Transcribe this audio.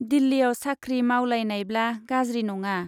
दिल्लीयाव साख्रि मावलायनायब्ला गाज्रि नङा।